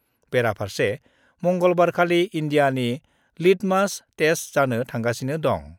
बेरफारसे मंगलबारखालि इन्डियानि litmus test जानो थांगासिनो दङ।